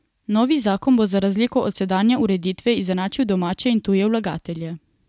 Novi zakon bo za razliko od sedanje ureditve izenačil domače in tuje vlagatelje.